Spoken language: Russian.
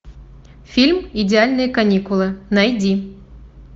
фильм идеальные каникулы найди